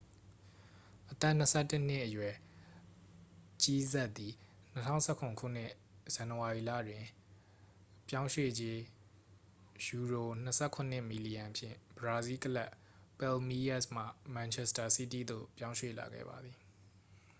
အသက်-၂၁-နှစ်အရွယ် ဂျီးဆပ်သည် ၂၀၁၇ ခုနှစ် ဇန်နဝါရီလတွင် ပြောင်းရွေ့ကြေး £၂၇ မီလီယံဖြင့် ဘရာဇီးကလပ် ပယ်လ်မီးရပ်စ်မှ မန်ချက်စတာစီးတီးသို့ ပြောင်းရွှေ့လာခဲ့ပါသည်။